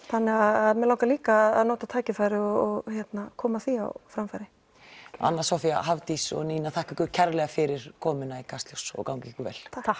þannig að mig langar líka að nýta tækifærið og koma því á framfæri anna Soffía Hafdís og Nína ég þakka ykkur kærlega fyrir komuna í Kastljós og gangi ykkur vel takk